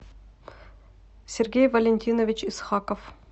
сергей валентинович исхаков